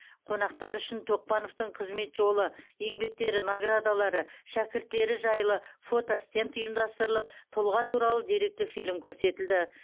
қонақтар үшін а тоқпановтың қызмет жолы еңбектері наградалары шәкірттері жайлы фотостенд ұйымдастырылып тұлға туралы деректі фильм көрсетілді